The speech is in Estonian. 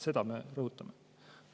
Seda me rõhutame.